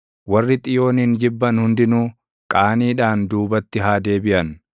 Warri Xiyoonin jibban hundinuu, qaaniidhaan duubatti haa deebiʼan.